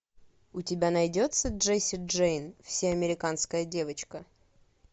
у тебя найдется джесси джейн всеамериканская девочка